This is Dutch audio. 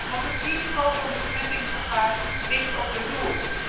Want het risico van besmettingsgevaar ligt op de loer.